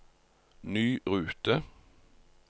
ny rute